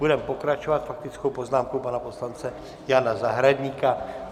Budeme pokračovat faktickou poznámkou pana poslance Jana Zahradníka.